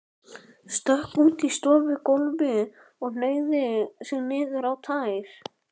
Stökk út á stofugólfið og hneigði sig niður í tær.